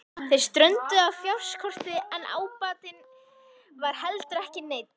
Þeir strönduðu á fjárskorti en ábatinn var heldur ekki neinn.